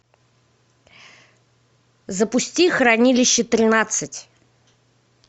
запусти хранилище тринадцать